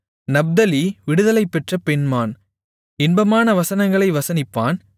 நப்தலி விடுதலைபெற்ற பெண்மான் இன்பமான வசனங்களை வசனிப்பான்